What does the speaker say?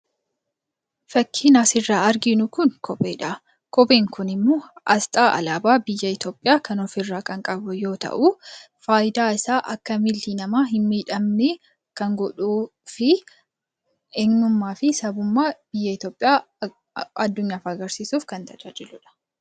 Fakkiin asirraa arginu kun kopheedha. kopheen kun immoo asxaa alaabaa biyya Ithiyoopiyaa kan ofirra qabu yoo ta'u, faayidaan isaa akka miilli nama hin miidhamne kan godhuufi eenyuummaafi sabummaa biyya Ithiyoopiyaa addunyaaf agarsiisuuf kan tajaajiludha.